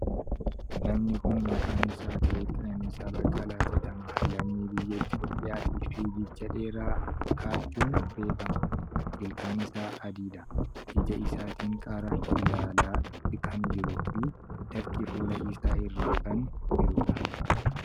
Namni kuni maqaan isaa Atileet Qananiisaa Baqqalaa jedhama. Lammii biyya Itiyoophiyyaati. Fiigicha dheeraa kaachun beekkama. Ilkaan isaa adii dha. Ija isaatin gar biraa ilaalaa kan jiruu fi dafqi fuula isaa irra kan jiruudha.